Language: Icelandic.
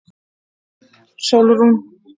Sólrún